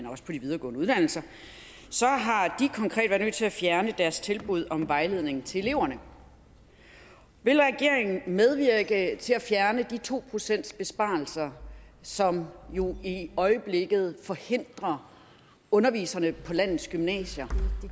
og de videregående uddannelser i nødt til at fjerne deres tilbud om vejledning til eleverne vil regeringen medvirke til at fjerne de to procentsbesparelser som jo i øjeblikket forhindrer underviserne på landets gymnasier